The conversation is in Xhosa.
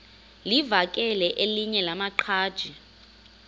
livakele elinye lamaqhaji